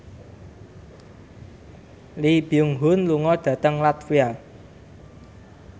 Lee Byung Hun lunga dhateng latvia